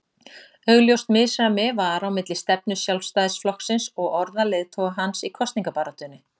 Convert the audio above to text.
Augljóst misræmi var á milli stefnu Sjálfstæðisflokksins og orða leiðtoga hans í kosningabaráttunni.